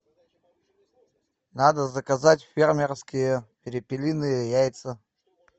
надо заказать фермерские перепелиные яйца